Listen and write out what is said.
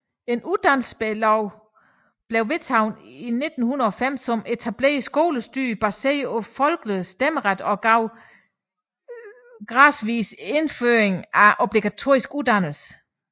En uddannelseslov blev vedtaget i 1905 som etablerede skolestyre baseret på folkelig stemmeret og gav gradvis indføring af obligatorisk uddannelse